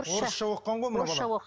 орысша оқыған ғой мына бала